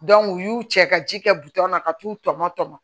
u y'u cɛ ka ji kɛ na ka t'u tɔmɔ tɔmɔ